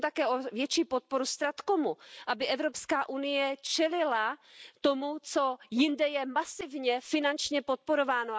Prosím také o větší podporu StratComu, aby Evropská unie čelila tomu, co je jinde masivně finančně podporováno.